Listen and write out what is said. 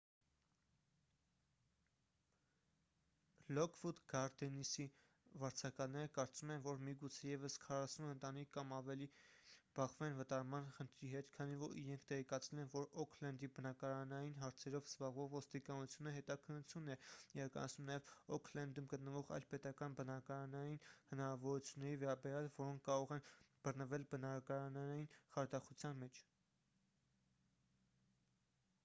լոքվուդ գարդենսի վարձակալները կարծում են որ միգուցե ևս 40 ընտանիք կամ ավելին բախվեն վտարման խնդրի հետ քանի որ իրենք տեղեկացել են որ օքլենդի բնակարանային հարցերով զբաղվող ոստիկանությունը հետաքննություն է իրականացնում նաև օքլենդում գտնվող այլ պետական բնակարանային հնարավորությունների վերաբերյալ որոնք կարող են բռնվել բնակարանային խարդախության մեջ